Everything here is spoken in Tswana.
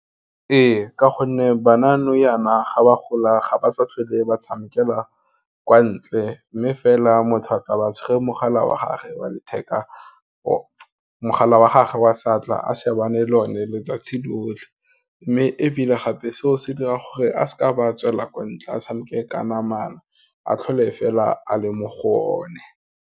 Ee, ka gonne bana nou yana ga ba gola ga ba sa tlhole ba tshamekela kwa ntle, mme fela motho a tla ba tshwere mogala wa gage wa saatla a shebane le one letsatsi lotlhe, mme ebile gape seo se dira gore a seka ba tswela kwa ntle a tshameke ka namana, a tlhole fela a le mo go o ne.